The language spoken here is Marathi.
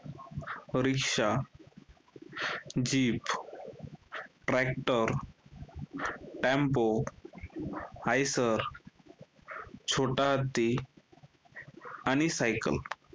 rickshaw, jeep, tractor, tempo , छोटा हत्ती आणि cycle